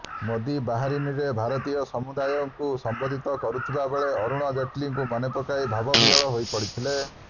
ମୋଦୀ ବାହାରିନରେ ଭାରତୀୟ ସମୂଦାୟଙ୍କୁ ସମ୍ବୋଧିତ କରୁଥିବାବେଳେ ଅରୁଣ ଜେଟଲୀଙ୍କୁ ମନେପକାଇ ଭାବବିହ୍ୱଳ ହୋଇପଡିଥିଲେ